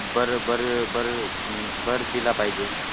भर भर भर भर दिला पाहिजे.